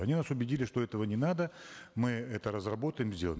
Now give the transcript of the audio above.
они нас убедили что этого не надо мы это разработаем сделаем